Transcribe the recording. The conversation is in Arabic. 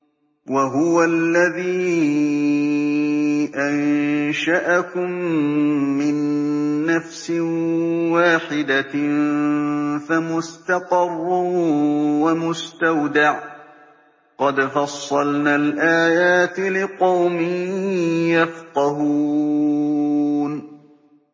وَهُوَ الَّذِي أَنشَأَكُم مِّن نَّفْسٍ وَاحِدَةٍ فَمُسْتَقَرٌّ وَمُسْتَوْدَعٌ ۗ قَدْ فَصَّلْنَا الْآيَاتِ لِقَوْمٍ يَفْقَهُونَ